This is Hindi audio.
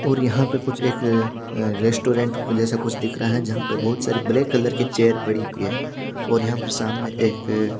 और यहाँ पे कुछ एक अ रेस्टोरेंट जेसा कुछ दिख रहा है जहा पर बोहोत सारी ब्लैक कलर चेयर पड़ी हुई है और यहाँ पर सामने एक--